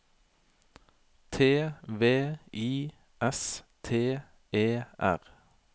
T V I S T E R